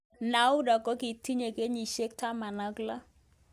Noura kokitinye kenyisiek 16